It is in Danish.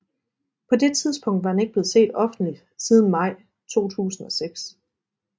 På det tidspunkt var han ikke blevet set offentligt siden maj 2006